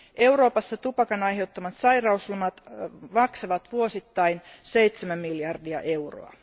Euroopassa tupakan aiheuttamat sairauslomat maksavat vuosittain 7 miljardia euroa.